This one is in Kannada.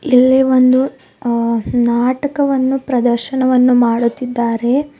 ಇಲ್ಲಿ ಒಂದು ಉ ಅ ನಾಟಕವನ್ನು ಪ್ರದರ್ಶನ ಮಾಡುತ್ತಿದ್ದಾರೆ.